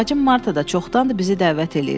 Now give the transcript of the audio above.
Bacım Marta da çoxdandır bizi dəvət eləyir.